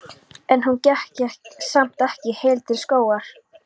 En hún gekk samt ekki heil til skógar.